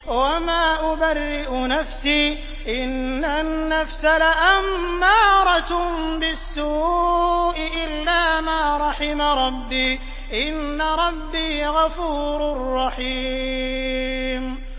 ۞ وَمَا أُبَرِّئُ نَفْسِي ۚ إِنَّ النَّفْسَ لَأَمَّارَةٌ بِالسُّوءِ إِلَّا مَا رَحِمَ رَبِّي ۚ إِنَّ رَبِّي غَفُورٌ رَّحِيمٌ